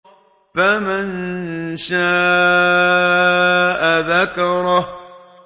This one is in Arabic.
فَمَن شَاءَ ذَكَرَهُ